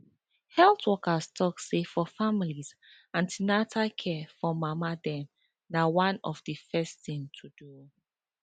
health workers talk say for families an ten atal care for mama dem na one of the first thing to do